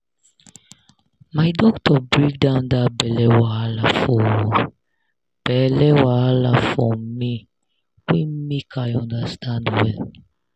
my doctor break down that belle wahala for belle wahala for me way make i understand well